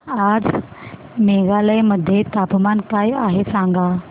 आज मेघालय मध्ये तापमान काय आहे सांगा